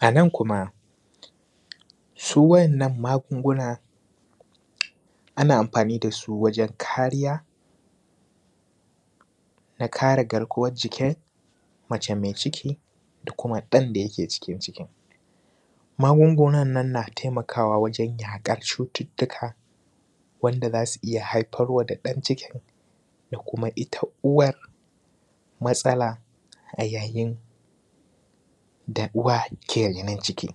A nan kuma, su wa’yannan magunguna, ana amfani da su wajen kariya, na kare garkuwar jikin mace me ciki da kuma ɗan da yake cikin cikin. Magungunan nan na taimakawa wajen yaƙar cututtuka wanda za su iya haifar wa da ɗan cikin da kuma ita uwar matsala a yayin da uwa ke renan ciki.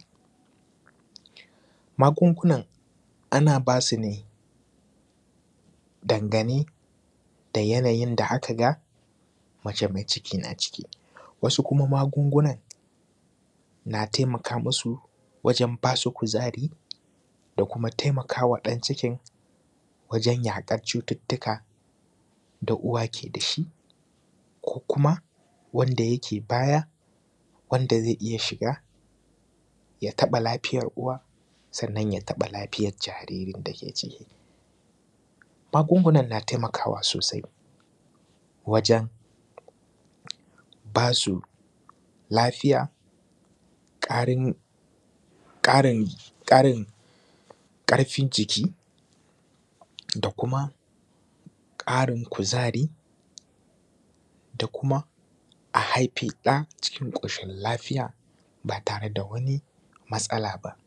Magungunan ana ba su ne dangane da yanayin da aka ga mace me ciki na ciki, wasu kuma magungunan na taimaka musu wajen ba su kuzari da kuma taimaka wa ɗan cikin wajen yaƙar cututtuka da uwa ke da shi, ko kuma wanda yake baya, wanda ze iya shiga ya taƃa lafiyar uwa sannan ya taƃa lafiyar jariri da ke ciki. Magungunan na taimakawa sosai wajen ba su lafiya, ƙarin; ƙarin; ƙarin ƙarfin jiki da kuma ƙarin kuzari da kuma a haifi ɗa cikin ƙoshin lafiya, ba tare da wani matsala ba.